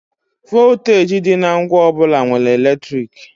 Vọlteeji dị na ngwa ọ bụla nwere eletriki.